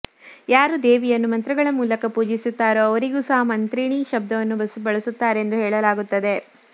ಯಾರು ದೇವಿಯನ್ನು ಮಂತ್ರಗಳ ಮೂಲಕ ಪೂಜಿಸುತ್ತಾರೋ ಅವರಿಗೂ ಸಹ ಮಂತ್ರಿಣೀ ಶಬ್ದವನ್ನು ಬಳಸುತ್ತಾರೆಂದು ಹೇಳಲಾಗುತ್ತದೆ